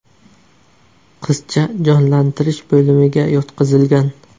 Qizcha jonlantirish bo‘limiga yotqizilgan.